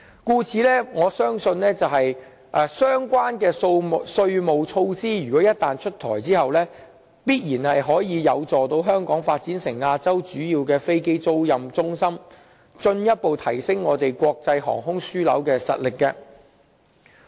故此，我相信相關的稅務措施一旦出台，必然有助香港發展成為亞洲主要的飛機租賃中心，從而進一步提升我們作為國際航空樞紐的實力。